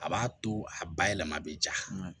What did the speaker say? A b'a to a bayɛlɛma bɛ ja